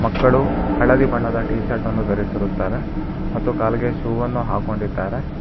ಮಕ್ಕಳು ಹಳದಿ ಬಣ್ಣದ ಟೀಶರ್ಟ್ ಅನ್ನು ಧರಿಸಿರುತ್ತಾರೆ ಮತ್ತು ಕಾಲಿಗೆ ಶೂವನ್ನು ಹಾಕೊಂಡಿದ್ದಾರೆ.